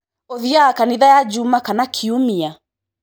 Ũthianga kanitha ya juma kana kiumia?